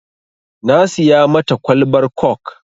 Na siya mata kwalbar kok